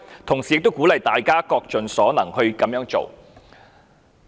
同時，我們也鼓勵大家各盡所能去這樣做。